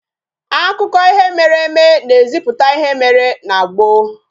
Akụkọ ihe mere eme na eziputa ihe mere na gboo